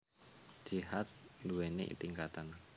Jihad nduwèni tingkatan